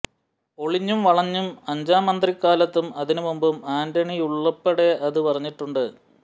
ഒളിഞ്ഞും വളഞ്ഞും അഞ്ചാം മന്ത്രിക്കാലത്തും അതിനും മുമ്പും ആന്റണിയുള്പ്പെടെ അതു പറഞ്ഞിട്ടുണ്ട്